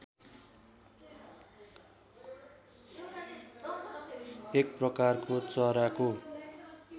एक प्रकारको चराको